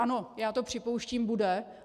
Ano, já to připouštím, bude.